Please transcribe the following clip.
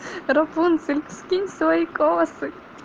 рапунцель скинь свои косы